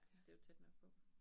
Ja det jo tæt nok på